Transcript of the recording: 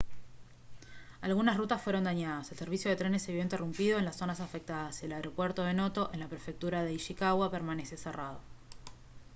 algunas rutas fueron dañadas el servicio de trenes se vio interrumpido en las zonas afectadas y el aeropuerto de noto en la prefectura de ishikawa permanece cerrado